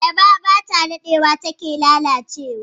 Ayaba ba ta dadewa ba ta lalace ba.